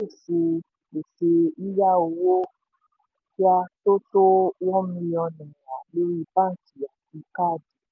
pèsè pèsè yíyá owó kíá tó tó one million naira lórí báńkì àti káàdì.